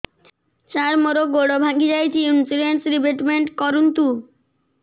ସାର ମୋର ଗୋଡ ଭାଙ୍ଗି ଯାଇଛି ଇନ୍ସୁରେନ୍ସ ରିବେଟମେଣ୍ଟ କରୁନ୍ତୁ